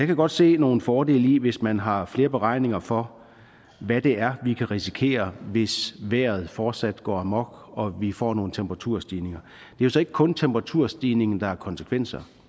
kan godt se nogle fordele i det hvis man har flere beregninger for hvad det er vi kan risikere hvis vejret fortsat går amok og vi får nogle temperaturstigninger det er så ikke kun temperaturstigningen der har konsekvenser